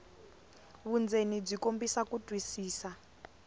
vundzeni byi kombisa ku twisisa